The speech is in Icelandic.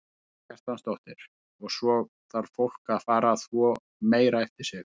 Karen Kjartansdóttir: Og svo þarf fólk að fara að þvo meira eftir sig?